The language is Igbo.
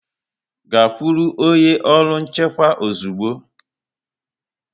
Gaa kwụrụ onye ọrụ nchekwa ozugbo!